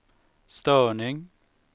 störning